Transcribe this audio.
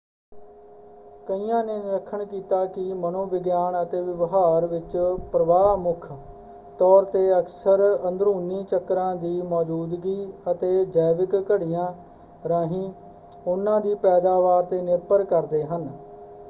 ਕਈਆਂ ਨੇ ਨਿਰੀਖਣ ਕੀਤਾ ਕਿ ਮਨੋ ਵਿਗਿਆਨ ਅਤੇ ਵਿਵਹਾਰ ਵਿੱਚ ਪ੍ਰਵਾਹ ਮੁੱਖ ਤੌਰ 'ਤੇ ਅਕਸਰ ਅੰਦਰੂਨੀ ਚੱਕਰਾਂ ਦੀ ਮੌਜੂਦਗੀ ਅਤੇ ਜੈਵਿਕ ਘੜੀਆਂ ਰਾਹੀਂ ਉਹਨਾਂ ਦੀ ਪੈਦਾਵਾਰ 'ਤੇ ਨਿਰਭਰ ਕਰਦੇ ਹਨ।